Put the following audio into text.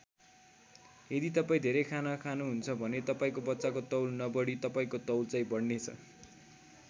यदि तपाईँ धेरै खाना खानुहुन्छ भने तपाईँको बच्चाको तौल नबढी तपाईँको तौल चाहिँ बढ्नेछ।